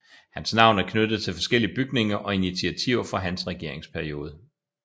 Hans navn er knyttet til forskellige bygninger og initiativer fra hans regeringsperiode